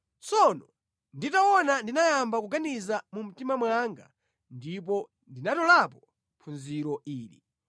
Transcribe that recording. Tsono nditaona ndinayamba kuganizira mu mtima mwanga ndipo ndinatolapo phunziro ili: